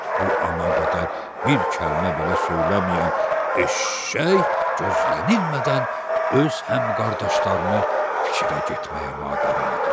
Bu ana qədər bir kəlmə belə söyləməyən eşşək gözlənilmədən öz həmkardaşlarını fikrə getməyə vadar elədi.